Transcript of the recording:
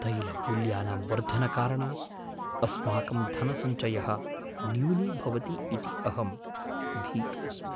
तैलमूल्यानां वर्धनकारणात् अस्माकं धनसञ्चयः न्यूनीभवति इति अहं भीतोऽस्मि।